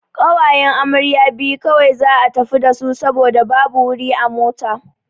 Ƙawayen amarya biyu kawai za'a tafi dasu saboda babu wuri a mota.